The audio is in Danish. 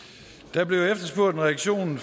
der blev efterspurgt en reaktion